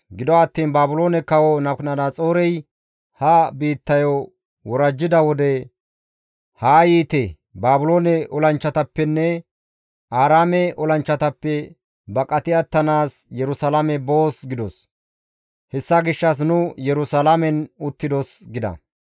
Gido attiin Baabiloone kawo Nabukadanaxoorey ha biittayo worajjida wode, ‹Haa yiite Baabiloone olanchchatappenne Aaraame olanchchatappe baqati attanaas Yerusalaame boos› gidos; hessa gishshas nu Yerusalaamen uttidos» gida.